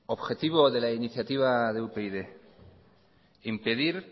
objetivo de la iniciativa de upyd impedir